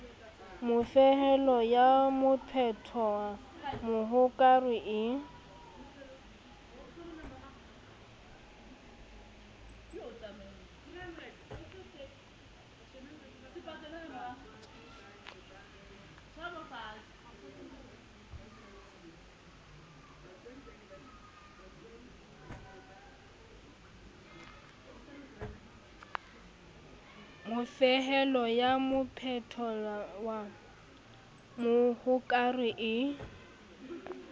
mofehelo ya mophetwa mohokare e